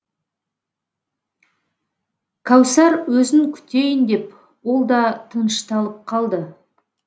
кәусар өзін күтейін деп ол да тынышталып қалды